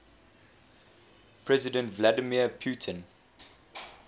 president vladimir putin